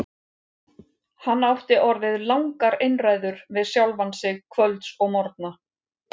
Hann átti orðið langar einræður við sjálfan sig kvölds og morgna.